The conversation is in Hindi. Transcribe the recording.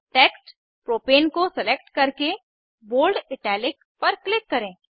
टेक्स्ट प्रोपेन को सेलेक्ट करके बोल्ड इटैलिक पर क्लिक करें